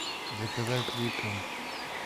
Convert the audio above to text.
заказать липтон